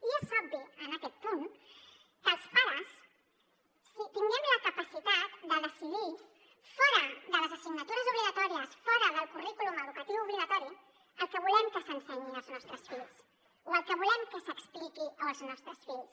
i és obvi en aquest punt que els pares tinguem la capacitat de decidir fora de les assignatures obligatòries fora del currículum educatiu obligatori el que volem que s’ensenyi als nostres fills o el que volem que s’expliqui als nostres fills